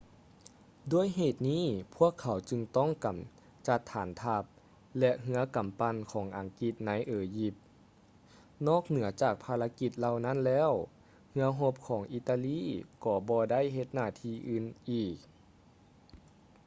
ດ້ວຍເຫດນີ້ ພວກເຂົາຈຶ່ງຕ້ອງກຳຈັດຖານທັບ ແລະ ເຮືອກຳປັ່ນຂອງອັງກິດໃນ ເອຢິບ ນອກເໜືອຈາກພາລະກິດເຫຼົ່ານັ້ນແລ້ວ ເຮືອຮົບຂອງອີຕາລີກໍບໍ່ໄດ້ເຮັດໜ້າທີ່ອື່ນອີກ